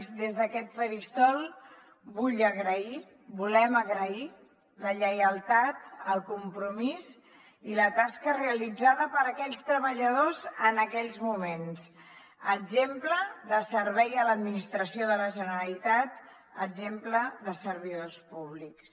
i des d’aquest faristol vull agrair volem agrair la lleialtat el compromís i la tasca realitzada per aquells treballadors en aquells moments exemple de servei a l’administració de la generalitat exemple de servidors públics